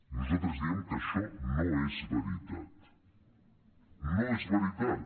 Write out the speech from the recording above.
nosaltres diem que això no és veritat no és veritat